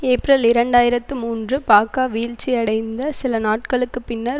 April இரண்டாயிரத்து மூன்று பாக்கா வீழ்ச்சியடைந்த சில நாட்களுக்கு பின்னர்